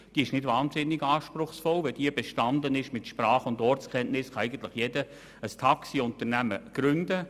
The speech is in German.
Sie ist nicht sehr anspruchsvoll und wenn sie bestanden ist mit Sprach- und Ortskenntnissen, kann eigentlich jeder ein Taxiunternehmen gründen.